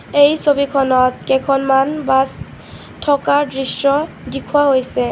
এই ছবিখনত কেইখনমান বাছ থকা দৃশ্য দিখুৱা হৈছে.